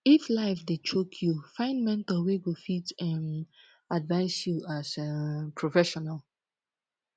if life dey choke yu find mentor wey go fit um advice yu as um professional